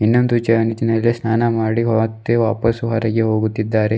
ಇನ್ನೊಂದು ಸ್ನಾನ ಮಾಡಿ ಮತ್ತೆ ವಾಪಸ್ ಹೊರಗೆ ಹೋಗುತ್ತಿದ್ದಾರೆ.